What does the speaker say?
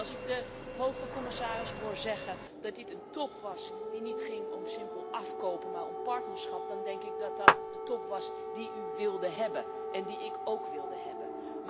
En als ik de hoge commissaris hoor zeggen dat dit een top was die niet ging om simpel afkopen maar om partnerschap, dan denk ik dat dat de top was die u wilde hebben en die ik ook wilde hebben.